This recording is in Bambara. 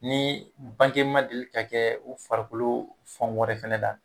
Ni bange ma deli ka kɛ u farikolo fan wɛrɛ fana la